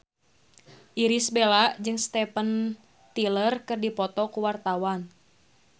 Irish Bella jeung Steven Tyler keur dipoto ku wartawan